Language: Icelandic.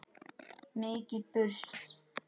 Mikið burst.